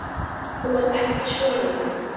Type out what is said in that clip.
Þú ert ekki sonur minn.